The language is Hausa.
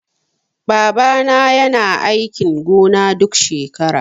Baba na yana aikin gona duk shekara